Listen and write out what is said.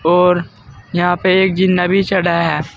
और यहां पे एक जिन्ना भी चढ़ा है।